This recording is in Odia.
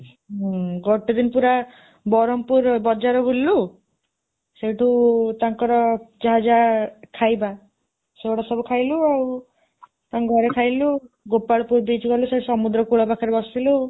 ହୁଁ ଗୋଟେ ଦିନ ପୁରା ବରହମପୁର ବଜାର ବୁଲିଲୁ, ସେଇଠୁ ତାଙ୍କର ଯାହା ଯାହା ଖାଇବା ସେଗୁଡ଼ା ସବୁ ଖାଇଲୁ ଆଉ ତାଙ୍କ ଘରେ ଖାଇଲୁ, ଗୋପାଳପୁର beach ଗଲୁ, ସେ ସମୁଦ୍ର କୂଳ ପାଖରେ ବସିଲୁ